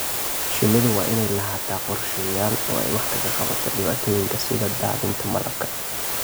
Shinnidu waa inay lahaataa qorshayaal ay wax kaga qabato dhibaatooyinka sida daadinta malabka.